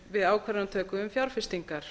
við ákvarðanatöku um fjárfestingar